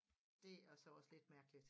Det er så også lidt mærkeligt